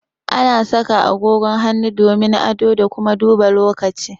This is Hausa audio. Ana saka agogon hannu domin ado da kuma duba lokaci